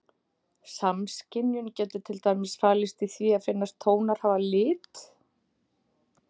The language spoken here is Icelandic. Samskynjun getur til dæmis falist í því að finnast tónar hafa lit.